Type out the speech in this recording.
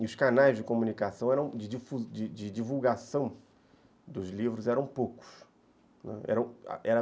E os canais de comunicação, de de divulgação dos livros eram poucos.